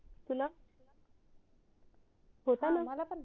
तुला होता ना